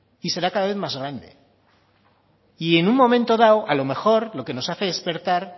y será cada vez más grande y en un momento dado a lo mejor lo que nos hace despertar